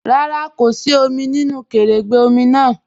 Rárá, kò sí òmì nínu kẹrẹ́gbẹ̀ òmì náà.